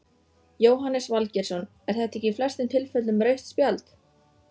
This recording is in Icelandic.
Jóhannes Valgeirsson er þetta ekki í flestum tilfellum rautt spjald?